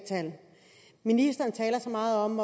tal ministeren taler så meget om